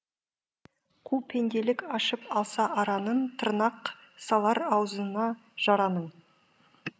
қу пенделік ашып алса аранын тырнақ салар ауызына жараның